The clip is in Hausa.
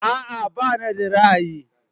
A'a bani da ra'ayi.